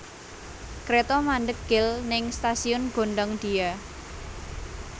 Kreto mandheg gel ning stasiun Gondangdia